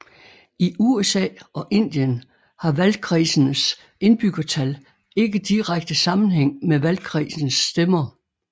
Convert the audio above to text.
I USA og Indien har valgkredsenes indbyggertal ikke direkte sammenhæng med valgkredsens stemmer